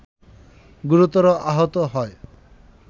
গুরুতর আহত হয়